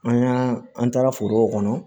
An y'an an taara forow kɔnɔ